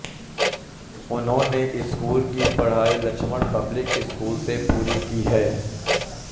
उन्होने स्कूल कि पढाई लक्ष्मण पब्लिक स्कूल से पुरी कि है